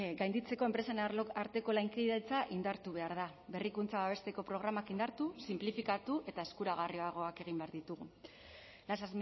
gainditzeko enpresen arteko lankidetza indartu behar da berrikuntza babesteko programak indartu sinplifikatu eta eskuragarriagoak egin behar ditugu las